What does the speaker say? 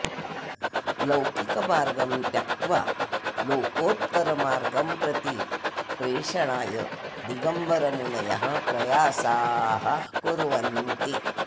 लौकिकमार्गं त्यक्त्वा लोकोत्तरमार्गं प्रति प्रेषणाय दिगम्बरमुनयः प्रयासाः कुर्वन्ति